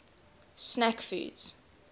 snack foods